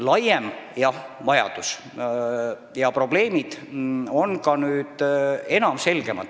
Laiem vajadus ja probleemid on ka nüüdseks selgemad.